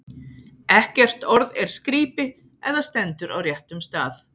Ekkert orð er skrípi, ef það stendur á réttum stað.